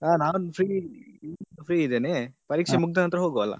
ಹಾ ನಾನು free free ಇದ್ದೇನೆ ಪರೀಕ್ಷೆ ಮುಗ್ದನಂತರ ಹೋಗುವ ಅಲ್ಲ.